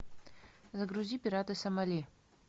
загрузи пираты сомали